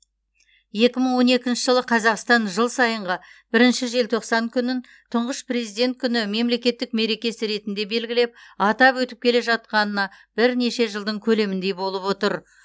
екі мың он екінші жылы қазақстан жыл сайынғы бірінші желтоқсан күнін тұңғыш президент күні мемлекеттік мерекесі ретінде белгілеп атап өтіп келе жатқанына бірнеше жылдың көлеміндей болып отыр